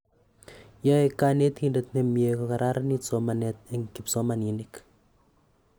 Yoe konetindet nemyee kogararanit somanet en kipsomaninik